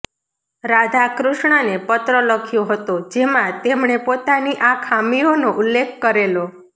રાધાકૃષ્ણને પત્ર લખ્યો હતો જેમાં તેમણે પોતાની આ ખામીઓનો ઉલ્લેખ કરેલો